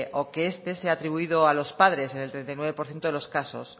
o que este sea atribuido a los padres en el treinta y nueve por ciento de los casos